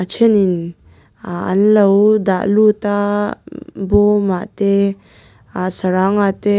thenin aa an lo dah lut a bawmah te aa sarangah te--